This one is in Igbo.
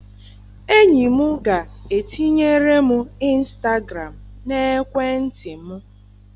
Enyi m ga-etinyere m ịnstagram n'ekwentị m.